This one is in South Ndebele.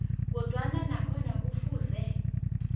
kodwana nakhona kufuze